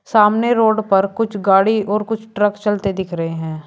सामने रोड पर कुछ गाड़ी और कुछ ट्रक चलते दिख रहे हैं।